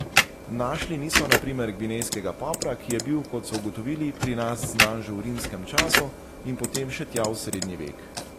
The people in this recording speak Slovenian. Našli niso na primer gvinejskega popra, ki je bil, kot so ugotovili, pri nas znan že v rimskem času in potem še tja v srednji vek.